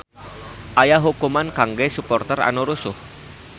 Aya hukuman kangge suporter anu rusuh